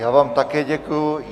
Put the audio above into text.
Já vám také děkuji.